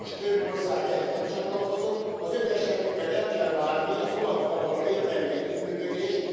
Sajnos több ország ehhez nem csatlakozott, az ő esetükben el kell várni az OLAF fal való érdemi együttműködést.